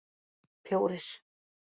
fjórir